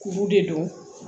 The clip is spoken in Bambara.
Kuru de don